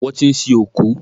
Wọ́n ti sin òkú.